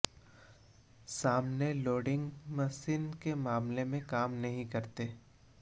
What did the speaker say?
सामने loading machine के मामले में काम नहीं करते